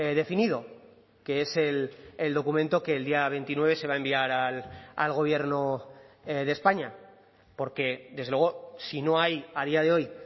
definido que es el documento que el día veintinueve se va a enviar al gobierno de españa porque desde luego si no hay a día de hoy